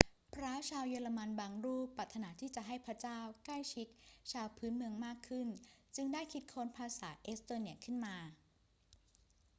พระชาวเยอรมันบางรูปปรารถนาที่จะให้พระเจ้าใกล้ชิดชาวพื้นเมืองมากขึ้นจึงได้คิดค้นภาษาเอสโตเนียขึ้นมา